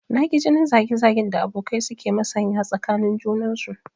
Na ki jinin zage zagen da abokai su ke masanya tsakanin junansu